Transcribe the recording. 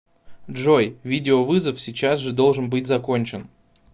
джой видеовызов сейчас же должен быть закончен